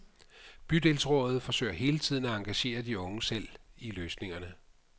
Bydelsrådet forsøger hele tiden at engagere de unge selv i løsningerne.